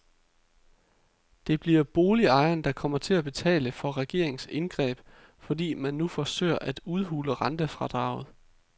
Det bliver boligejerne, der kommer til at betale for regeringens indgreb, fordi man nu forsøger at udhule rentefradraget.